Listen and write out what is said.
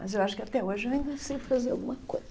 Mas eu acho que até hoje ainda sei fazer alguma coisa.